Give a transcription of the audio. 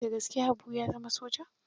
Da gaske Habu ya zama soja?